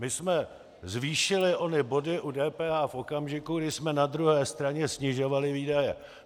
My jsme zvýšili ony body u DPH v okamžiku, kdy jsme na druhé straně snižovali výdaje.